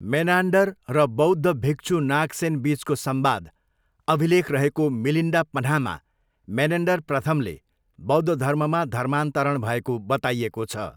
Menander र बौद्ध भिक्षु नागसेन बिचको संवाद अभिलेख रहेको मिलिन्डा पन्हामा मेनेन्डर प्रथमले बौद्ध धर्ममा धर्मान्तरण भएको बताइएको छ।